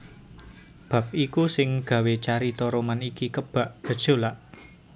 Bab iku sing gawé carita roman iki kebak gejolak